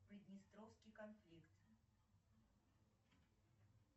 приднестровский конфликт